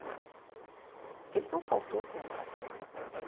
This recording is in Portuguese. Porque ele não faltou como pai, né? Então